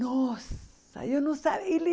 Nossa, eu não sabia. Ele